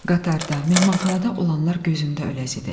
Qatarda, mehmanxanada olanlar gözümdə öləzi idi.